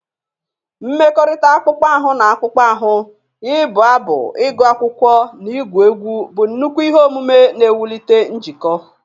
Mmekọrịta akpụkpọ ahụ na akpụkpọ ahụ, ịbụ abụ, ịgụ akwụkwọ, na igwu egwu bụ nnukwu ihe omume na-ewulite njikọ.